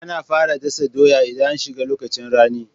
Ana fara dasa doya idan an shiga lokacin rani